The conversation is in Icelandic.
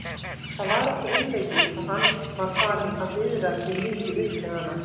Það var ekki einleikið hvað hann var farinn að viðra sig mikið upp við hana.